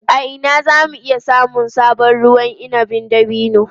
A ina za mu iya samun sabon ruwan inabin dabino?